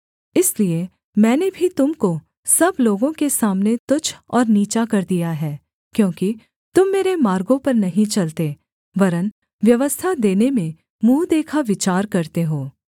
इसलिए मैंने भी तुम को सब लोगों के सामने तुच्छ और नीचा कर दिया है क्योंकि तुम मेरे मार्गों पर नहीं चलते वरन् व्यवस्था देने में मुँह देखा विचार करते हो